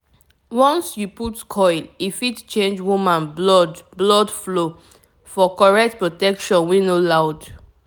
once you put coil e fit change woman blood blood flow - for correct protection wey no loud.